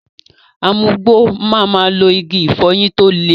Amugbò ma ma lo Igi ìfọyín tó le.